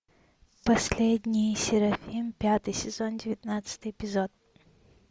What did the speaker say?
последний серафим пятый сезон девятнадцатый эпизод